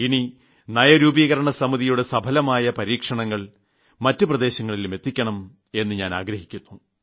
ഇനി സംസ്ഥാനങ്ങളുടെ സഫലമായ പരീക്ഷണങ്ങൾ നിതി ആയോഗ് മുഖേന മറ്റ് പ്രദേശങ്ങളിലും എത്തിക്കണം എന്ന് ഞാൻ ആഗ്രഹിക്കുന്നു